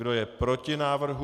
Kdo je proti návrhu?